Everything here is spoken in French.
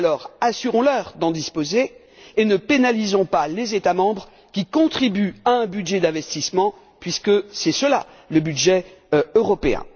Alors, assurons leur d'en disposer et ne pénalisons pas les États membres qui contribuent à un budget d'investissement, puisque c'est cela le budget européen.